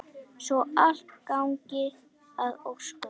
Svo allt gangi að óskum.